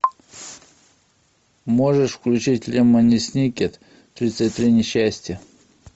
можешь включить лемони сникет тридцать три несчастья